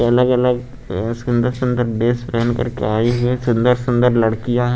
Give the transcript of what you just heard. अलग-अलग ये सुंदर-सुंदर ड्रेस पहन करके आई हुई हैं सुंदर-सुंदर लड़कियां --